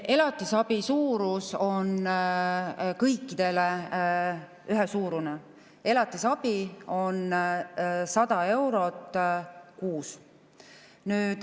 Elatisabi suurus on kõikidel ühesuurune, elatisabi on 100 eurot kuus.